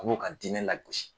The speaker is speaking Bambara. A b'o ka diinɛ lagosi.